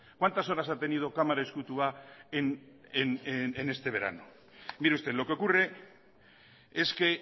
cuántas horas ha tenido kamara ezkutua en este verano mire usted lo que ocurre es que